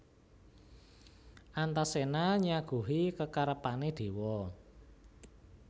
Antaséna nyaguhi kekarepané déwa